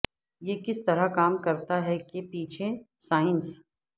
یہ کس طرح کام کرتا ہے کے پیچھے سائنس